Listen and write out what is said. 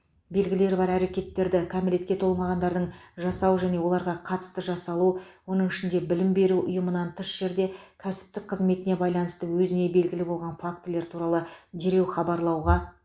белгілері бар әрекеттерді кәмелетке толмағандардың жасау және оларға қатысты жасалу оның ішінде білім беру ұйымынан тыс жерде кәсіптік қызметіне байланысты өзіне белгілі болған фактілер туралы дереу хабарлауға